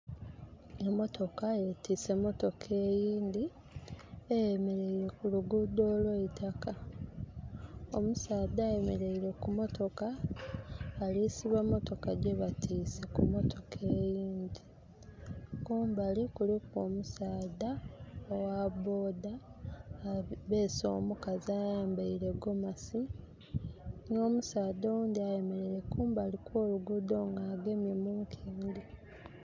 Emotoka yetise emotoka eyindhi, eyemereire ku luguudo olw' eitaka. Omusaadha ayemereire ku motoka alisiba motoka gyebatise ku motoka eyindhi. Kumbali kuliku omusaadha ogha boda abeese omukazi ayambaile gomasi nh' omusadha oghundhi ayemereire kumbali kw'oluguudho nga agemye mu nkendhe.